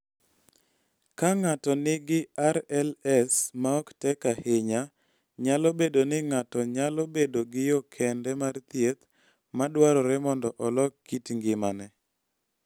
Ka ng�ato nigi RLS ma ok tek ahinya, nyalo bedo ni ng�ato nyalo bedo gi yo kende mar thieth ma dwarore mondo olok kit ngimane.